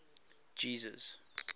jesus